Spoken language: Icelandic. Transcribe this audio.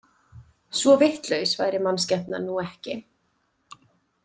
Svo vitlaus væri mannskepnan nú ekki.